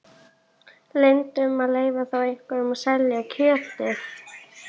Linda: Um að leyfa þá einhverjum að selja kjötið?